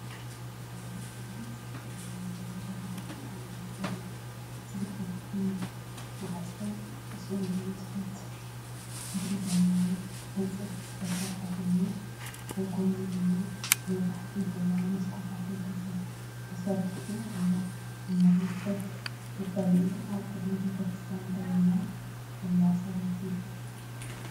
እዚ ዓቢንጽቡቕ ዲዛይን ዘለዎን ቤተ ክርስቲያን ዘርኢ እዩ። እቲ ናይ ቅድሚት ማዕጾ ብጽኑዕን ትሑት ሕብሪ ዘለዎንዕንጨይቲ ዝተሰርሐ ኮይኑ፡ኣብ ጎድኑ ድማ ብነዋሕትን ሕብራዊ መስኮታትን ተሰሪዑ ኣሎ። ኣብ መሬት ኮፍ መበሊታትን ኣብ ቅድሚ ቤተ ክርስቲያን ደው ኢላ ዘላ ሰበይቲ።